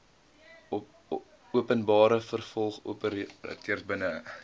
openbare vervoeroperateurs binne